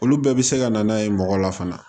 Olu bɛɛ bɛ se ka na n'a ye mɔgɔ la fana